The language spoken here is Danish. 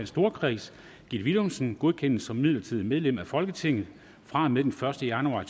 storkreds gitte willumsen godkendes som midlertidigt medlem af folketinget fra og med den første januar